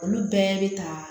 Olu bɛɛ bɛ ta